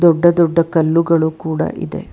ದೊಡ್ಡ ದೊಡ್ಡ ಕಲ್ಲುಗಳು ಕೂಡ ಇದೆ.